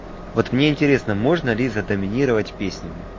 вот мне интересно можно ли за доминировать песнями